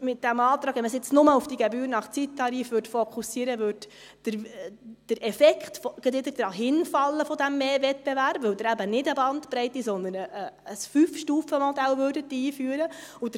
– Mit diesem Antrag, wenn man jetzt nur auf diese Gebühr nach Zeittarif fokussieren würde, würde der Effekt dieses vermehrten Wettbewerbs gerade wieder dahinfallen, weil Sie eben nicht eine Bandbreite, sondern ein 5Stufen-Modell einführen würden.